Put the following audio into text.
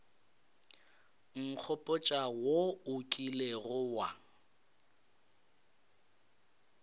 nkgopotša wo o kilego wa